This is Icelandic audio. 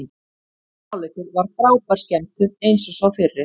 Seinni hálfleikur var frábær skemmtun eins og sá fyrri.